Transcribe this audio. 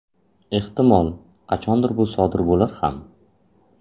Ehtimol, qachondir bu sodir bo‘lar ham.